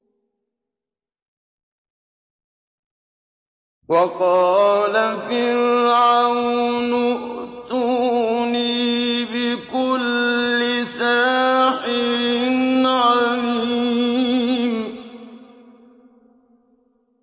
وَقَالَ فِرْعَوْنُ ائْتُونِي بِكُلِّ سَاحِرٍ عَلِيمٍ